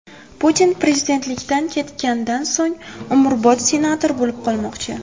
Putin prezidentlikdan ketganidan so‘ng umrbod senator bo‘lib qolmoqchi.